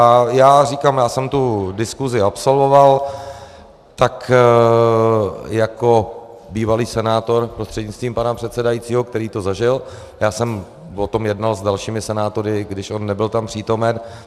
A já říkám, já jsem tu diskusi absolvoval tak jako bývalý senátor prostřednictvím pana předsedajícího, který to zažil, já jsem o tom jednal s dalšími senátory, když on nebyl tam přítomen.